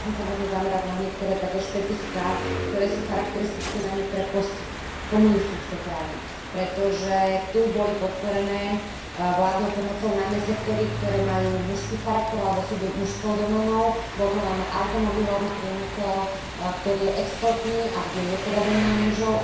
Chcela by som sa zamerať na niektoré špecifiká, ktoré sú charakteristické najmä pre postkomunistické krajiny, pretože tu boli podporené vládnou pomocou najmä sektory, ktoré majú mužský charakter alebo sú mužskou doménou, a to najmä automobilový priemysel, ktorý je exportný a ktorý je hlavne doménou mužov.